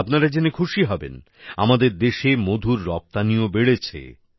আপনারা জেনে খুশি হবেন আমাদের দেশে মধুর রপ্তানিও বেড়েছে